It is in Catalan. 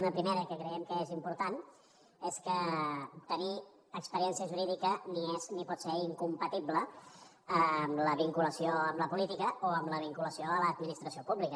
una primera que creiem que és important és que tenir experiència jurídica ni és ni pot ser incompatible amb la vinculació amb la política o amb la vinculació a l’administració pública